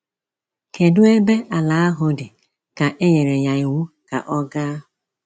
Kedu ebe ala ahụ dị ka e nyere ya iwu ka ọ gaa?